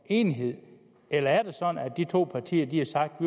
enighed eller er det sådan at de to partier har sagt